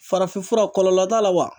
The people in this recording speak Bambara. Farafinfura kɔlɔlɔ t'a la wa?